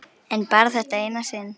En bara þetta eina sinn.